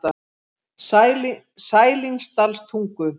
Sælingsdalstungu